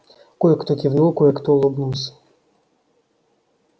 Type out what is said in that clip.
кое-кто кивнул кое-кто улыбнулся